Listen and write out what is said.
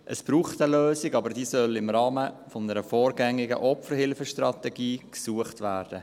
Es braucht eine Lösung, aber diese soll im Rahmen einer vorgängigen Opferhilfestrategie gesucht werden.